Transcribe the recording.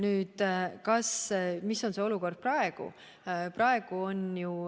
Milline on olukord praegu?